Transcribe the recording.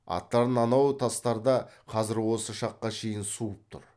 аттарың анау тастарда қазір осы шаққа шейін суып тұр